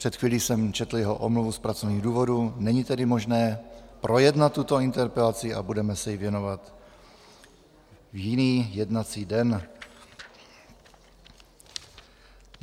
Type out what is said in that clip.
Před chvílí jsem četl jeho omluvu z pracovních důvodů, není tedy možné projednat tuto interpelaci a budeme se jí věnovat v jiný jednací den.